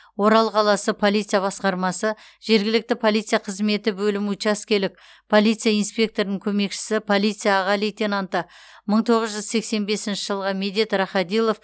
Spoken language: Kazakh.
орал қаласы полиция басқармасы жергілікті полиция қызметі бөлімі учаскелік полиция инспекторының көмекшісі полиция аға лейтенанты мыі тоғыз жүз сексен бесінші жылғы медет рахадилов